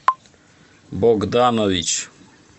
богданович